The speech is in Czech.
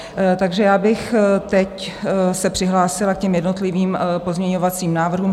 Takže já bych teď se přihlásila k těm jednotlivým pozměňovacím návrhům.